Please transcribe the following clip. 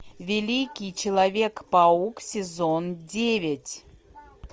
великий человек паук сезон девять